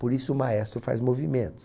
Por isso o maestro faz movimentos.